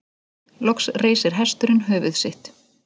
Loks reisir hesturinn höfuð sitt.